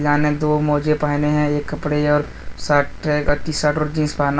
सामने दो मोजे पहने हैं एक कपड़े और शर्ट टी शर्ट और जींस पहना--